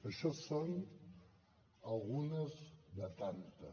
això són algunes de tantes